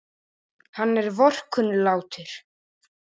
Hann er vorkunnlátur.